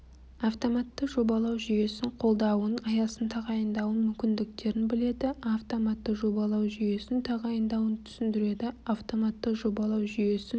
автоматты жобалау жүйесін қолдауын аясын тағайындауын мүмкіндіктерін біледі автоматты жобалау жүйесі тағайындауын түсіндіреді автоматты жобалау жүйесін